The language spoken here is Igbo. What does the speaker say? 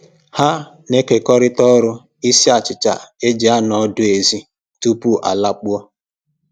Ha na-ekekọrịta ọrụ isi achịcha e ji anọ ọdụ ezi tupu a lakpuo